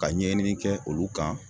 Ka ɲɛɲini kɛ olu kan